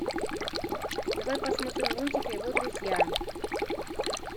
давай посмотрим лунтик и его друзья